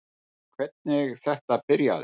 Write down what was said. Hvernig þetta byrjaði